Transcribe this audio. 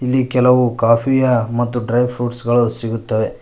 ಇಲ್ಲಿ ಕೆಲವು ಕಾಪಿಯ ಮತ್ತು ಡ್ರೈ ಫ್ರುಟ್ಸ್ ಗಳು ಸಿಗುತ್ತವೆ.